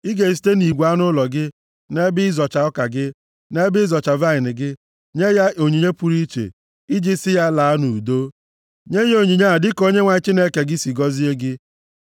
Ị ga-esite nʼigwe anụ ụlọ gị, na nʼebe ịzọcha ọka gị, na nʼebe ịzọcha vaịnị gị, nye ya onyinye pụrụ iche iji sị ya laa nʼudo. Nye ya onyinye a dịka Onyenwe anyị Chineke gị si gọzie gị.